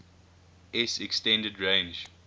s extended range